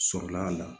Sɔrɔla a la